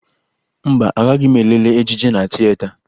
Mba, agaghị m lelee ejije na tieta